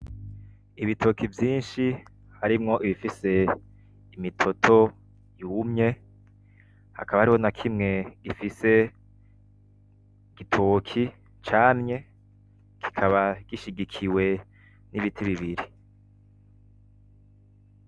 Ibitoki vyishi harimwo ibifise imitoto yumye hakaba hariho na kimwe gifise igitoki camye kikaba gishigikiwe n’ibiti bibiri.